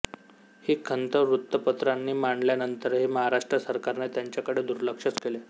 ही खंत वृत्तपत्रांनी मांडल्यानंतरही महाराष्ट्र सरकारने त्यांच्याकडे दुर्लक्षच केले